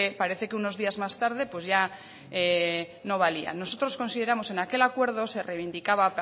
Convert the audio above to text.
parece que unos días más tarde pues ya no valía nosotros consideramos que en aquel acuerdo se reivindicaba